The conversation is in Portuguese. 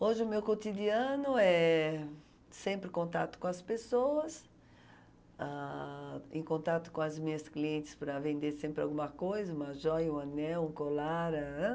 Hoje o meu cotidiano é sempre contato com as pessoas, ãh, em contato com as minhas clientes para vender sempre alguma coisa, uma joia, um anel, um colar, ãh ãh.